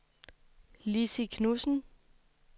Lissy Knudsen